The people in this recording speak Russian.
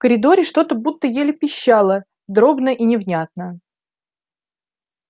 в коридоре что-то будто еле пищало дробно и невнятно